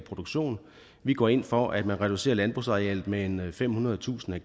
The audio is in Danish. produktion vi går ind for at man reducerer landbrugsarealet med med femhundredetusind